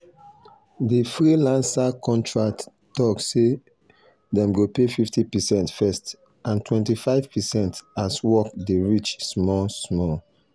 di freelancer contract talk say dem go pay 50 percent first and 25 percent as work dey reach small-small.